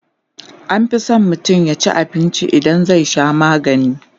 anfi San mutum yaci abinci idan zai Sha maganii